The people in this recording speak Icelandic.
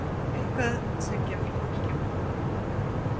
Eitthvað sem gefur fólki von.